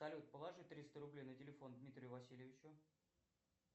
салют положи триста рублей на телефон дмитрию васильевичу